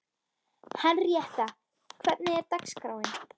Henrietta, hvernig er dagskráin?